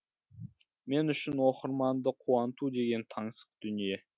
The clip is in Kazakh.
мен үшін оқырманды қуанту деген таңсық дүние